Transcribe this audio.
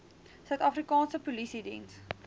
suid afrikaanse polisiediens